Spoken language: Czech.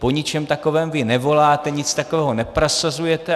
Po ničem takovém vy nevoláte, nic takového neprosazujete.